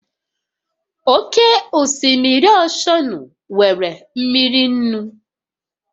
Oke osimiri oshọnụ nwere mmiri nnu